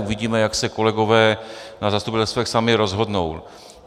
Uvidíme, jak se kolegové na zastupitelstvech sami rozhodnou.